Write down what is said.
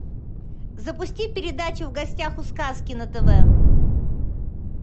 запусти передачу в гостях у сказки на тв